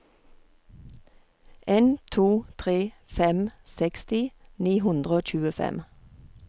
en to tre fem seksti ni hundre og tjuefem